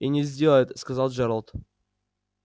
и не сделает сказал джералд